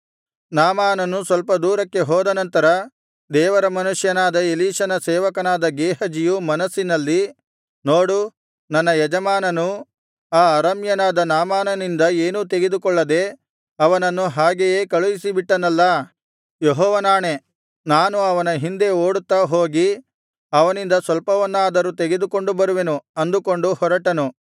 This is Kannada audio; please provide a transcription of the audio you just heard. ನಾಮಾನನು ಸ್ವಲ್ಪ ದೂರಕ್ಕೆ ಹೋದ ನಂತರ ದೇವರ ಮನುಷ್ಯನಾದ ಎಲೀಷನ ಸೇವಕನಾದ ಗೇಹಜಿಯು ಮನಸ್ಸಿನಲ್ಲಿ ನೋಡು ನನ್ನ ಯಜಮಾನನು ಆ ಅರಾಮ್ಯನಾದ ನಾಮಾನನಿಂದ ಏನೂ ತೆಗೆದುಕೊಳ್ಳದೆ ಅವನನ್ನು ಹಾಗೆಯೇ ಕಳುಹಿಸಿಬಿಟ್ಟನಲ್ಲಾ ಯೆಹೋವನಾಣೆ ನಾನು ಅವನ ಹಿಂದೆ ಓಡುತ್ತಾ ಹೋಗಿ ಅವನಿಂದ ಸ್ವಲ್ಪವನ್ನಾದರೂ ತೆಗೆದುಕೊಂಡು ಬರುವೆನು ಅಂದುಕೊಂಡು ಹೊರಟನು